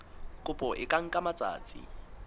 kopo e ka nka matsatsi